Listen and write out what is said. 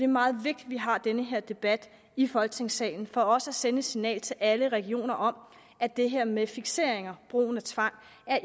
meget vigtigt at vi har den her debat i folketingssalen for også at sende et signal til alle regioner om at det her med fikseringer brugen af tvang